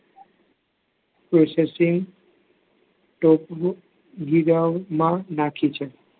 SSC માં નાખી છે.